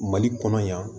Mali kɔnɔ yan